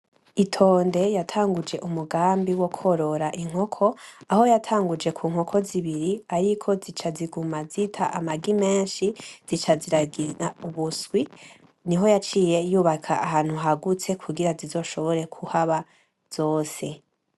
Itonde yatanguje umugambi wokorora inkoko aho yatanguje ku nkoko zibiri ariko zica ziguma zita amagi menshi zica ziragira ubuswi niho yaciye yubaka ahantu hagutse kugira zizoshobore kuhaba zose.